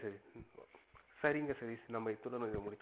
சரிங்க சதீஷ். நம்ப இத்தோட இத முடிச்சிக்கலாம்.